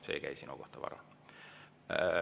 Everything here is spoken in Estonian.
See ei käi sinu kohta, Varro.